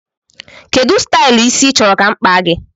Kedụ stylu ịsị i chọrọ ka mụ kpaa gị?